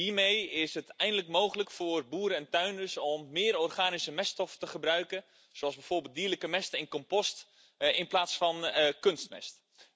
Hiermee is het eindelijk mogelijk voor boeren en tuinders om meer organische meststoffen te gebruiken, zoals bijvoorbeeld dierlijke mest en compost, in plaats van kunstmest.